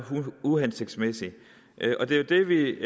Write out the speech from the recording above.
uhensigtsmæssig det er jo det vi